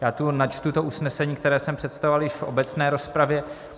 Já tu načtu to usnesení, které jsem představoval již v obecné rozpravě.